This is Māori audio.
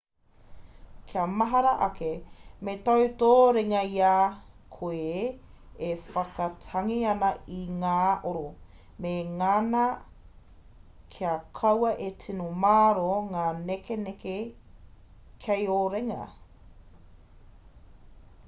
kia mahara ake me tau tō ringa i a koe e whakatangi ana i ngā oro me ngana kia kaua e tino māro ngā nekenekenga kei ō ringa